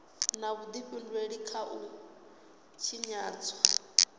na vhudifhinduleli kha u tshinyadzwa